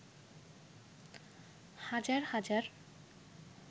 হাজার হাজার